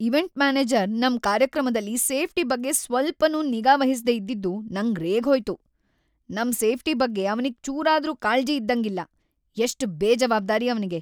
Event manager ನಮ್‌ ಕಾರ್ಯಕ್ರಮದಲ್ಲಿ safety ಬಗ್ಗೆ ಸ್ವಲ್ಚನೂ ನಿಗಾ ವಹಿಸ್ದೇ ಇದ್ದಿದ್ದು ನಂಗ್‌ ರೇಗ್ಹೋಯ್ತು. ನಮ್‌ ಸೇಫ್ಟಿ ಬಗ್ಗೆ ಅವ್ನಿಗ್‌ ಚೂರಾದ್ರೂ ಕಾಳ್ಜಿ ಇದ್ದಂಗಿಲ್ಲ! ಎಷ್ಟ್ ಬೇಜವಾಬ್ದಾರಿ‌ ಅವ್ನಿಗೆ!